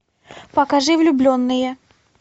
покажи влюбленные